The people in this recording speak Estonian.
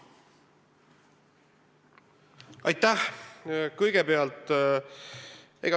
Aitäh!